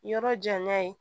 Yɔrɔ janya ye